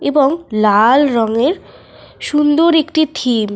এবং লাল রঙের সুন্দর একটি থিম ।